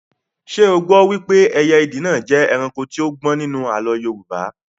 Ṣé o gbọ wípé ẹyẹ ìdì náà jẹ́ ẹranko tí ó gbọ́n nínú àlọ́ Yorùbá?